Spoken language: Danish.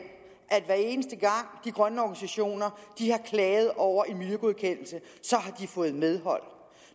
at hver eneste gang de grønne organisationer har klaget over en miljøgodkendelse har de fået medhold